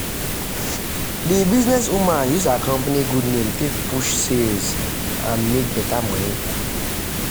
the businesswoman use her company good name take push sales and make better money.